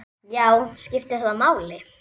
Já, skiptir það máli?